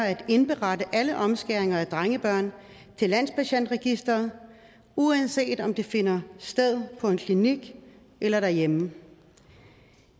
at indberette alle omskæringer af drengebørn til landspatientregisteret uanset om de finder sted på en klinik eller derhjemme